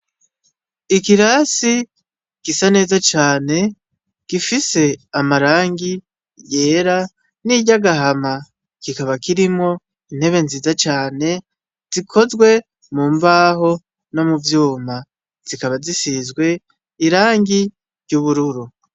Ikirasi gisa neza cane gifise amarangi yera n' iryagahama kikaba kirimwo intebe nziza cane zikozwe mu mbaho no muvyuma zikaba zisizwe irangi ry' ubururu.